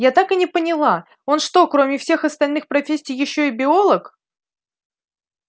я так и не поняла он что кроме всех остальных профессий ещё и биолог